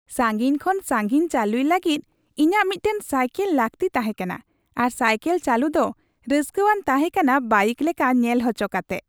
ᱥᱟᱝᱜᱤᱧ ᱠᱷᱚᱱ ᱥᱟᱝᱜᱤᱧ ᱪᱟᱹᱞᱩᱭ ᱞᱟᱹᱜᱤᱫ ᱤᱧᱟᱹᱜ ᱢᱤᱫᱴᱟᱝ ᱥᱟᱭᱠᱮᱞ ᱞᱟᱹᱠᱛᱤ ᱛᱟᱦᱮᱸ ᱠᱟᱱᱟ ᱟᱨ ᱥᱟᱭᱠᱮᱞ ᱪᱟᱹᱞᱩ ᱫᱚ ᱨᱟᱹᱥᱠᱟᱹᱣᱟᱱ ᱛᱟᱦᱮᱸ ᱠᱟᱱᱟ ᱵᱟᱭᱤᱠ ᱞᱮᱠᱟ ᱧᱮᱞ ᱦᱚᱪᱚ ᱠᱟᱛᱮ ᱾